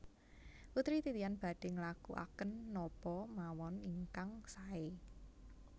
Putri Titian badhe nglakuaken napa mawon ingkang sae